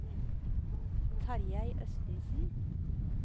Tarjei Østensen